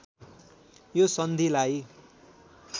यो सन्धिलाई